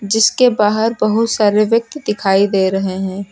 जिसके बाहर बहुत सारे व्यक्ति दिखाई दे रहे हैं।